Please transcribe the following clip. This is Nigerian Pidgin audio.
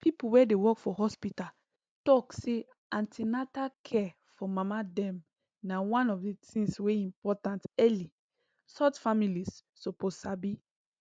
people wey dey work for hospital talk say an ten atal care for mama dem na one of the things wey important early sort families suppose sabi